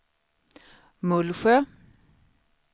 Mullsjö